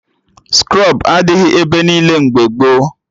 Skrọb adịghị ebe niile mgbe gboo